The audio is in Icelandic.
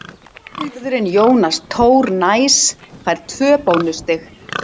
Bakvörðurinn Jónas Tór Næs fær tvö bónusstig.